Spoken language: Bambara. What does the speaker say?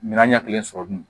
Minɛn ɲɛkelen sɔrɔ dun